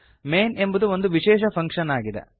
main ಎಂಬುದು ಒಂದು ವಿಶೇಷ ಫಂಕ್ಷನ್ ಆಗಿದೆ